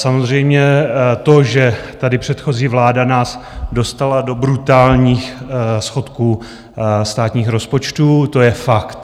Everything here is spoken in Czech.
Samozřejmě to, že tady předchozí vláda nás dostala do brutálních schodků státních rozpočtů, to je fakt.